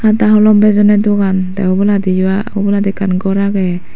hada holom bejondey dogan tey oboladiyo obolandi ekan gor agey.